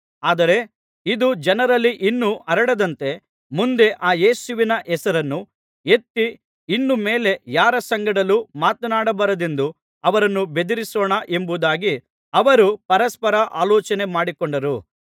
ಆದರೆ ಇದು ಜನರಲ್ಲಿ ಇನ್ನೂ ಹರಡದಂತೆ ಮುಂದೆ ಆ ಯೇಸುವಿನ ಹೆಸರನ್ನು ಎತ್ತಿ ಇನ್ನು ಮೇಲೆ ಯಾರ ಸಂಗಡಲೂ ಮಾತನಾಡಬಾರದೆಂದು ಅವರನ್ನು ಬೆದರಿಸೋಣ ಎಂಬುದಾಗಿ ಅವರು ಪರಸ್ಪರ ಆಲೋಚನೆ ಮಾಡಿಕೊಂಡರು